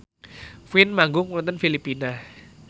Queen manggung wonten Filipina